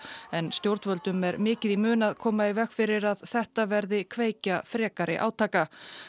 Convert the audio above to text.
en stjórnvöldum er mikið í mun að koma í veg fyrir að þetta verði kveikja frekari átaka